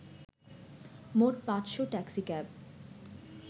মোট ৫’শ ট্যাক্সিক্যাব